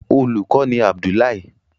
Olùkó ni Abdullahi.